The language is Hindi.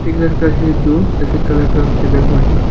लड़का है जो सफेद कलर का पहना हुआ है।